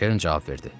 Kern cavab verdi.